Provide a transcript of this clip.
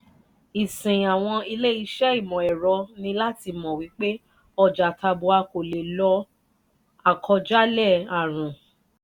ìsìn àwọn ilé ìṣe imọ ẹ̀rọ ní láti mọ wípé ọjà tabua kò lè lọ akọ jalè àrùn